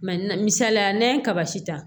misaliya la n'an ye kaba si ta